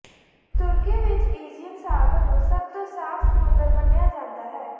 ਤੁਰਕੀ ਵਿਚ ਏਜੀਅਨ ਸਾਗਰ ਨੂੰ ਸਭ ਤੋਂ ਸਾਫ਼ ਸਮੁੰਦਰ ਮੰਨਿਆ ਜਾਂਦਾ ਹੈ